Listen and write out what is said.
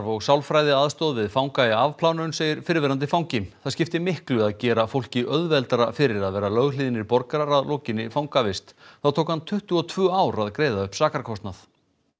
og sálfræðiaðstoð við fanga í afplánun segir fyrrverandi fangi þá skipti miklu að gera fólki auðveldara fyrir að vera löghlýðnir borgarar að lokinni fangavist það tók hann tuttugu og tvö ár að greiða upp sakarkostnað